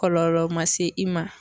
Kɔlɔlɔ ma se i ma